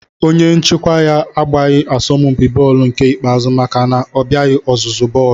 Onye nchịkwa ya agbaghị asọmpi bọọlụ nke ikpeazụ maka na ọ bịaghị ọzụzụ bọọlụ